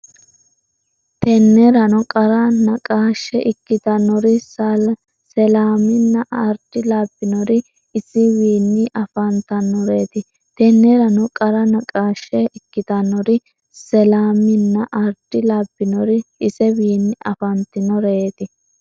Tennerano qara naqaashshe ikkitannori Selaaminna Ardi labbinori isewiinni afan- tannoreeti Tennerano qara naqaashshe ikkitannori Selaaminna Ardi labbinori isewiinni afan- tannoreeti.